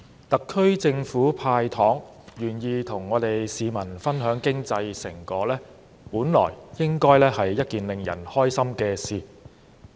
特區政府"派糖"，願意和市民分享經濟成果，本來是令人開心的事。